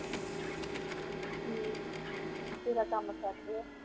ਹਮ ਤੇਰਾ ਕਾਮ ਸਰ ਗਿਆ